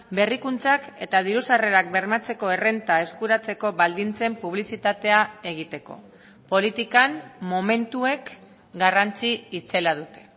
berrikuntzak eta diru sarrerak bermatzeko errenta eskuratzeko baldintzen publizitatea egiteko politikan momentuek garrantzi itzela dute